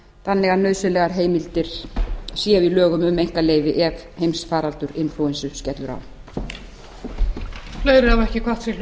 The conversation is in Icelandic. þannig að nauðsynlegar heimildir séu í lögum um einkaleyfi ef heimsfaraldur inflúensu skellur á